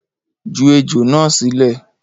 Ju ejò na silẹ.